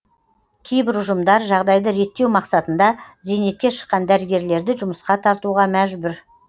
кейбір ұжымдар жағдайды реттеу мақсатында зейнетке шыққан дәрігерлерді жұмысқа тартуға мәжбүр